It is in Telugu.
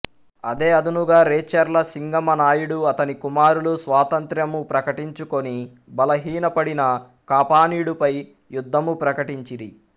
అదే అదనుగా రేచెర్ల సింగమ నాయుడు అతని కుమారులు స్వాతంత్ర్యము ప్రకటించుకొని బలహీనపడిన కాపానీడుపై యుద్ధము ప్రకటించిరి